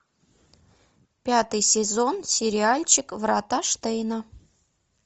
пятый сезон сериальчик врата штейна